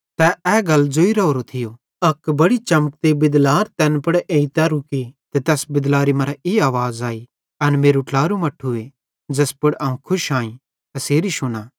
तै ए गल ज़ोइ राहोरो थियो अक बड़ी उज़ली चमकती बिदलार तैन पुड़ एइतां रुकी ते तैस बिदलारी मरां ई आवाज़ आई एन मेरू ट्लारू मट्ठूए ज़ैस पुड़ अवं खुश आईं एसेरी शुना